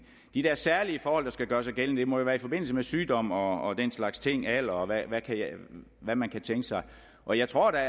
de der særlige forhold der skal gøre sig gældende må jo være i forbindelse med sygdom og alder og hvad man kan tænke sig og jeg tror da at